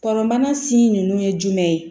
Kɔnɔbana si nunnu ye jumɛn ye